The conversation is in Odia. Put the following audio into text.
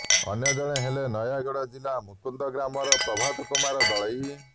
ଅନ୍ୟ ଜଣେ ହେଲେ ନୟାଗଡ ଜିଲ୍ଲା କୁମୁନ୍ଦ ଗ୍ରାମର ପ୍ରଭାତ କୁମାର ଦଳେଇ